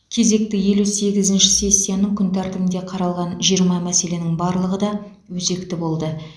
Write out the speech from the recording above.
кезекті елу сегізінші сессияның күн тәртібінде қаралған жиырма мәселенің барлығы да өзекті болды